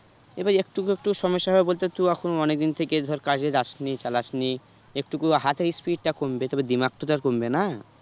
এবার একটু একটু সমস্যা বলতে তো তুই এখন অনেকদিন থেকে ধর কাজে যাসনি, চালাসনি একটুকু হাতের speed টা কমবে তবে দিমাগ তো তার কমবে না